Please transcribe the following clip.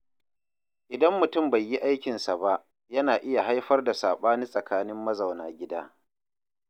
Idan mutum bai yi aikinsa ba, yana iya haifar da sabani tsakanin mazauna gida.